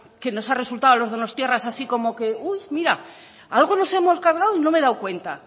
que nos ha resultado a los donostiarras así como que mira algo nos hemos cargado y no me he dado cuenta